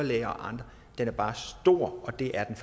læger bare er stor og det er den